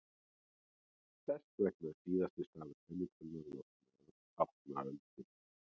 þess vegna er síðasti stafur kennitölunnar látinn tákna öldina